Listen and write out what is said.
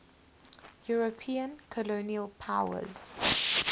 european colonial powers